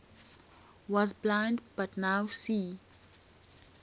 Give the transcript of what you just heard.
was blind but now see